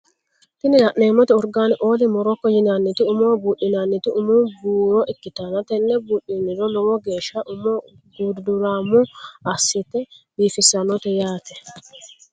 Tini la'neemotti Organ oil moroco yinanniti umoho buudhinanniti umu buuro ikkitanna tenne buudhiniro lowo geesha umo gudurammo assite biifissannote yaate.